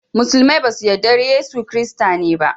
Musulmai ba su yarda da Yesu Kirista ne ba